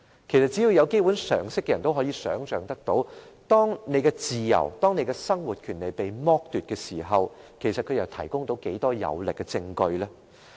其實，只要有基本常識的人，也可以想象到當一個人的自由和生活權利被剝奪時，他們又可以提供到多少有力證據呢？